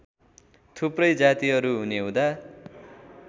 थुप्रै जातिहरू हुनेहुँदा